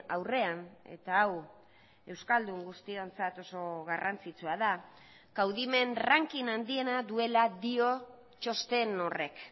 aurrean eta hau euskaldun guztiontzat oso garrantzitsua da kaudimen ranking handiena duela dio txosten horrek